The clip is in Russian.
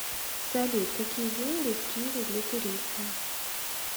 салют какие деньги в киеве для туриста